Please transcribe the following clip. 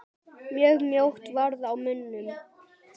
Mjög mjótt varð á munum.